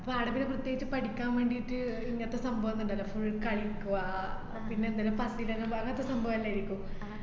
പ്പോ ആട് പിന്ന പ്രത്യേകിച്ചു പഠിക്കാൻ വേണ്ടീട്ട് ഇങ്ങനത്തെ സംഭവം ന്ന്ണ്ടല്ലൊ. full കളികുവ പിന്നെ ന്തേലും പത്തിലന്നും പറഞ്ഞ് പ്പ സംഭവന്നെര്ക്കും.